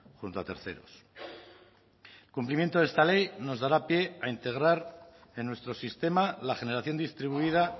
junto a terceros cumplimiento de esta ley nos dará pie a integrar en nuestro sistema la generación distribuida